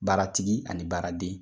Baaratigi ani baaraden